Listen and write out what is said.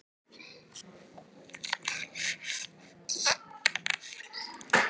Breki Logason: Ákveðinn svona hápunktur á þínum sjónvarpsferli?